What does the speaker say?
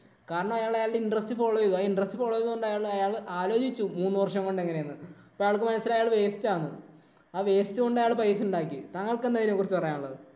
കാരണം അയാള് അയാളുടെ interest follow ചെയ്തു. ആ interest follow ചെയ്തത് കൊണ്ട് അയാള് ആലോചിച്ചു മൂന്ന് വര്‍ഷം കൊണ്ട് എങ്ങനെ എന്ന്. അപ്പം അയാള്‍ക്ക് മനസിലായി അയാള് waste ആണെന്ന്. ആ waste കൊണ്ട് അയാള് പൈസ ഉണ്ടാക്കി. താങ്കള്‍ക്ക് എന്താണ് ഇതിനെ കുറിച്ച് പറയാന്‍ ഒള്ളത്?